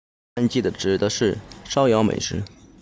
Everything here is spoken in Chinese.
hangi 指的是烧窑美食